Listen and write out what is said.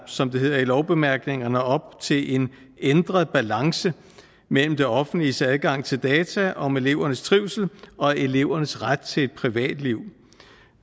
som det hedder i lovbemærkningerne op til en ændret balance mellem det offentliges adgang til data om elevernes trivsel og elevernes ret til et privatliv